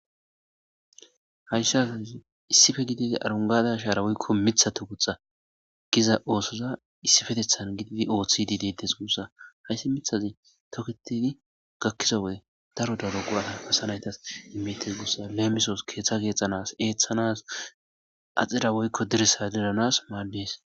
Hayssha azazi issife gididi arungada ashaara woykko mithato guxa giza oosoza issifetethan gididi ooththidi detes guussa hayssi mithazi toketedi gakkiza wode daro daro goata asanaytas immetes guussa leemisoos keeththa geexxanas eeththanas axira woykko dirissa diranas maaddees.